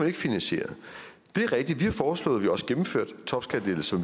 ikke finansieret det er rigtigt at vi har foreslået og også gennemført topskattelettelser